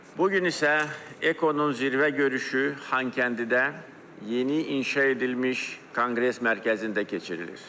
Bu gün isə Ekonun zirvə görüşü Xankəndidə yeni inşa edilmiş Konqres mərkəzində keçirilir.